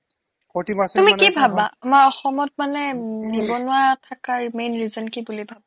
তুমি কি ভাবা আমাৰ অসমত মানে নিবনুৱা থাকাৰ main reason কি বুলি ভাবা